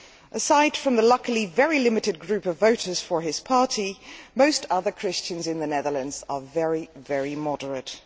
Aside from the luckily very limited group of voters for his party, most other Christians in the Netherlands are very, very moderate.